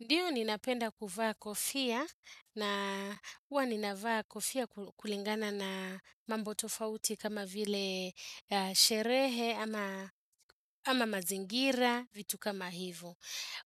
Ndiyo ninapenda kuvaa kofia na uwa ninavaa kofia kulingana na mambo tofauti kama vile sherehe ama mazingira vitu kama hivo.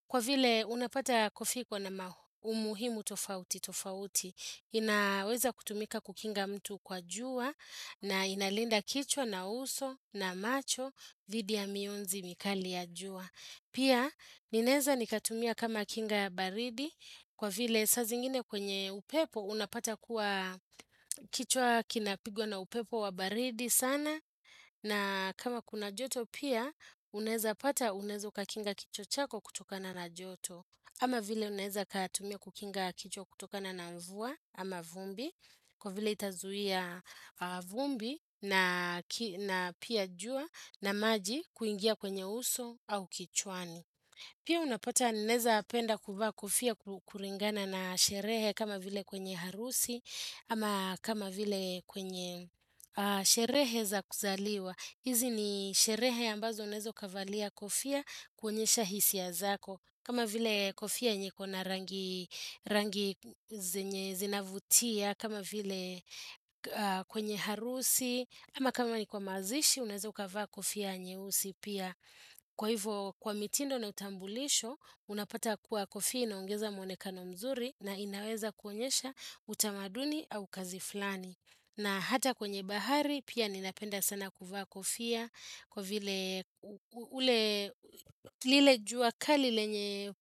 Kwa vile unapata kofia iko na umuhimu tofauti tofauti, inaweza kutumika kukinga mtu kwa jua na inalinda kichwa na uso na macho dhidi ya mionzi mikali ya jua. Pia ninaeza nikatumia kama kinga baridi kwa vile sa zingine kwenye upepo unapata kuwa kichwa kinapigwa na upepo wa baridi sana na kama kuna joto pia unaeza pata unaeza ukakinga kichwa chako kutokana na joto. Ama vile unaeza ukatumia kukinga kichwa kutokana na mvua ama vumbi, kwa vile itazuhia vumbi na pia jua na maji kuingia kwenye uso au kichwani. Pia unapata naeza penda kuvaa kofia kuringana na sherehe kama vile kwenye harusi ama kama vile kwenye sherehe za kuzaliwa. Hizi ni sherehe ambazo unaeza ukavalia kofia kuonyesha hisia zako. Kama vile kofia yenye iko na rangi zenye zinavutia, kama vile kwenye harusi, ama kama ni kwa mazishi unaeza ukavaa kofia nyeusi pia. Kwa hivo kwa mitindo na utambulisho, unapata kuwa kofia inaongeza mwonekano mzuri na inaweza kuonyesha utamaduni au kazi flani. Na hata kwenye bahari pia ninapenda sana kuvaa kofia kwa vile ule lile jua kali lenye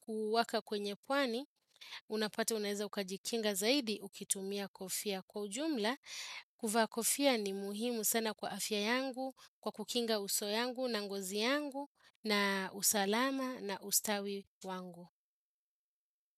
kuwaka kwenye pwani unapata unaeza ukajikinga zaidi ukitumia kofia kwa ujumla kuvaa kofia ni muhimu sana kwa afya yangu kwa kukinga uso yangu na ngozi yangu na usalama na ustawi wangu.